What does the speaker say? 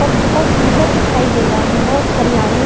पर बहुत सुंदर दिखाई दे रहा है बहुत हरियाली